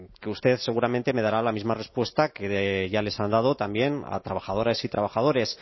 que usted seguramente me dará la misma respuesta que ya les han dado también a trabajadoras y trabajadores